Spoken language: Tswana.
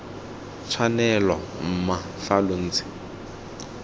tshwanelo mma fa lo ntse